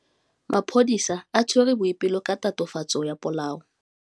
Maphodisa a tshwere Boipelo ka tatofatsô ya polaô.